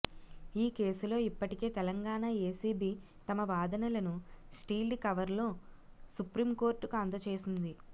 ఈ కేసులో ఇప్పటికే తెలంగాణా ఏసిబి తమ వాదనలను సీల్డ్ కవర్లో సుప్రింకోర్టుకు అందచేసింది